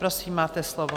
Prosím, máte slovo.